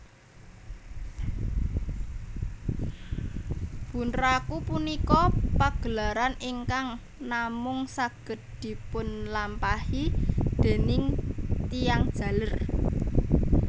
Bunraku punika pagelaran ingkang namung saged dipunlampahi déning tiyang jaler